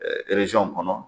kɔnɔ.